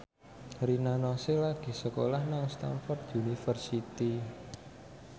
Rina Nose lagi sekolah nang Stamford University